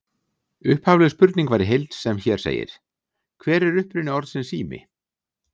Upphafleg spurning var í heild sem hér segir: Hver er uppruni orðsins sími?